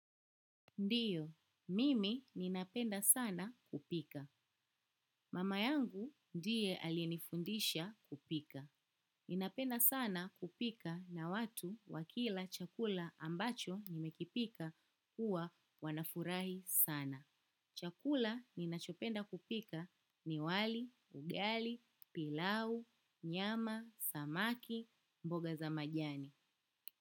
Ndiyo, mimi ninapenda sana kupika. Mama yangu ndiye alinifundisha kupika. Ninapenda sana kupika na watu wakila chakula ambacho nimekipika huwa wanafurahi sana. Chakula ninachopenda kupika ni wali, ugali, pilau, nyama, samaki, mboga za majani.